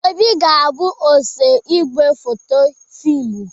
Obi ga-abụ osee igwefoto fịmụ